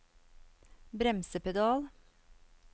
bremsepedal